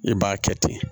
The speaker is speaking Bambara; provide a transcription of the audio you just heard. I b'a kɛ ten